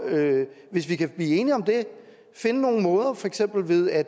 hvis vi kan blive enige om det og finde nogle måder for eksempel ved at